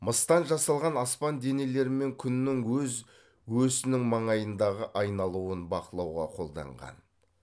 мыстан жасалған аспан денелері мен күннің өз өсінің маңайындағы айналуын бақылауға қолданған